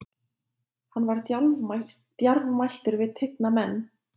Hann var djarfmæltur við tigna menn.